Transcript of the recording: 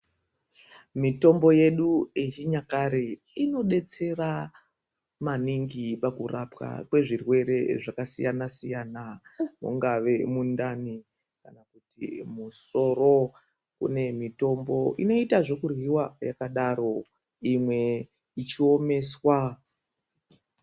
Mitombo yedu yechinyakare inodetsera, maningi pakurapwa kwezvirwere zvakasiyana-siyana. Mungave mundani kana kuti musoro, kune mitombo inoita zvekuryiwa yakadaro imwe ichiomeswa.